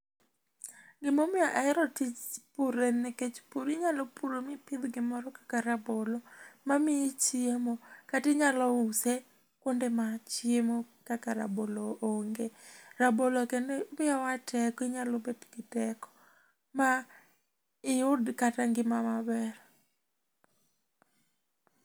Gi ma omiyo ahero tich pur en ni kech pur inyalo puro ma i pidh gi moro kaka rabolo ma miyi chiemo kata inyalo u se kwonde ma chiemo kaka rabolo onge rabolo kendo miyo wa teko inyalo bedo gi teko ma i yud kata ngima ma ber.